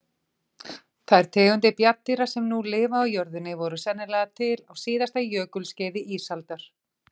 Þær tegundir bjarndýra sem nú lifa á jörðinni voru sennilega til á síðasta jökulskeiði ísaldar.